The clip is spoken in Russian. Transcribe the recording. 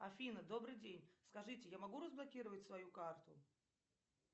афина добрый день скажите я могу разблокировать свою карту